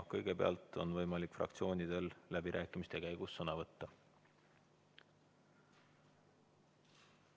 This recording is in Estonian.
Kõigepealt on võimalik fraktsioonidel läbirääkimiste käigus sõna võtta.